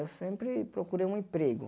Eu sempre procurei um emprego.